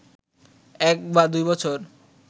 এক বা দুই বছর